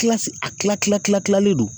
a kila kila kila kilalen don